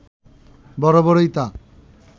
বরাবরই তা